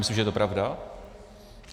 Myslím, že je to pravda.